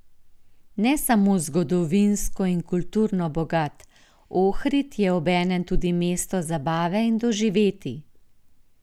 Ne samo zgodovinsko in kulturno bogat, Ohrid je obenem tudi mesto zabave in doživetij.